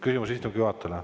Küsimus istungi juhatajale.